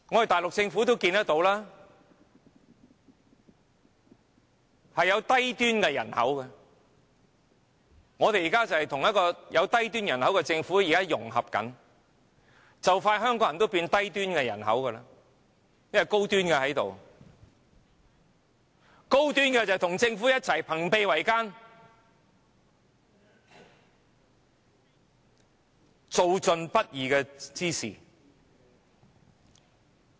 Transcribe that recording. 大陸有低端人口，我們現正跟有低端人口的政府融合，很快香港人也會變為低端人口，因為高端的在這裏，高端人口便與政府朋比為奸，做盡不義之事。